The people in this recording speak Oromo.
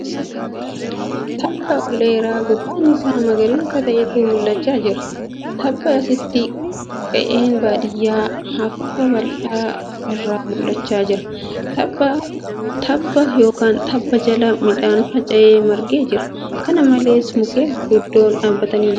Tabba ol dheeraa gubbaan isaa magariisa ta'etu mul'achaa jira. Tabbaa asitti qe'een baadiyyaa hurufa bal'aa irraa mul'achaa jira. Tabba yookan tabba jala midhaan faca'ee marge jira. Kana malees, mukkeen gurguddoon dhaabbatanii jiru.